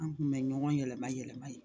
An kun bɛ ɲɔgɔn yɛlɛma yɛlɛma yen